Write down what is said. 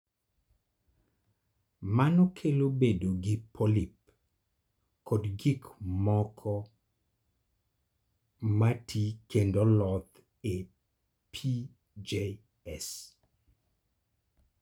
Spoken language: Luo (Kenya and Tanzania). Mano kelo bedo gi polyp kod gik moko mati kendo loth e PJS.